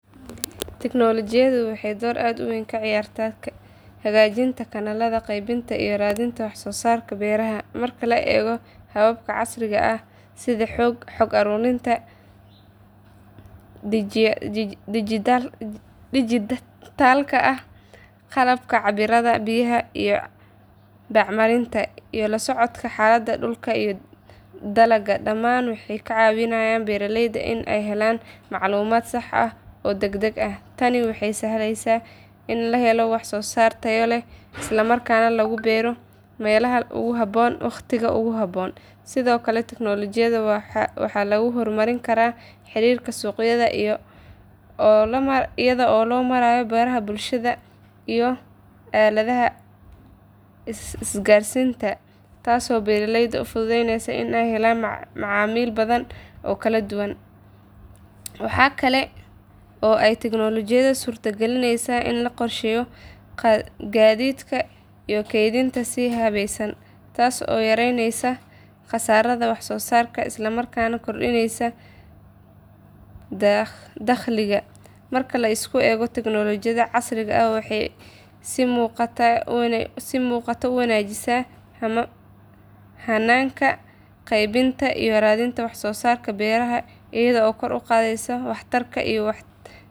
Tignoolajiyadu waxay door aad u weyn ka ciyaartaa hagaajinta kanaalada qaybinta iyo raadinta wax soo saarka beeraha. Marka la eego hababka casriga ah sida xog uruurinta dhijitaalka ah, qalabka cabbiraada biyaha iyo bacriminta, iyo la socodka xaaladda dhulka iyo dalagga, dhammaan waxay ka caawiyaan beeraleyda in ay helaan macluumaad sax ah oo degdeg ah. Tani waxay sahlaysaa in la helo wax soo saar tayo leh isla markaana lagu beero meelaha ugu habboon wakhtiga ugu habboon. Sidoo kale tignoolajiyada waxaa lagu horumarin karaa xiriirka suuqyada iyada oo loo marayo baraha bulshada iyo aaladaha isgaarsiinta, taasoo beeraleyda u fududeynaysa in ay helaan macaamiil badan oo kala duwan. Waxa kale oo ay tignoolajiyadu suurtagelinaysaa in la qorsheeyo gaadiidka iyo kaydinta si habaysan, taas oo yaraynaysa khasaaraha wax soo saarka isla markaana kordhinaysa dakhliga. Marka la isku geeyo, tignoolajiyada casriga ah waxay si muuqata u wanaajisaa hannaanka qaybinta iyo raadinta wax soo saarka beeraha iyadoo kor u qaadaysa waxtarka iyo.